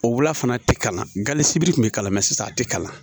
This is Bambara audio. O wula fana tɛ kalan sibiri kun bɛ k'a la mɛ sisan a tɛ kalan